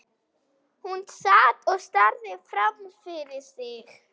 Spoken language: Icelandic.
Hún sat og starði framfyrir sig.